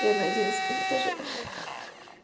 я на одиннадцатом этаже ха-ха